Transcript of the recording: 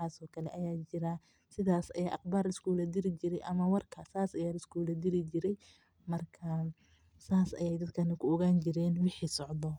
Marka, sidaas ayaa warka liskugu diri jire sidaas ayeey ku oganayaan dadka kale.